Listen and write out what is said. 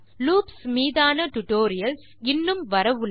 loops மீதான tutorials இன்னும் வரவுள்ளன